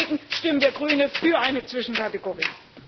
Deswegen stimmen wir als Grüne für eine Zwischenkategorie.